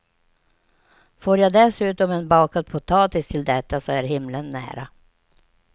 Får jag dessutom en bakad potatis till detta så är himlen nära.